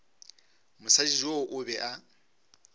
mosadi yoo o be a